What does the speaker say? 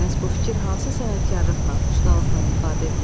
Bəs bu fikir hansı sənətkarlıqla, ustalıqla ifadə edilib?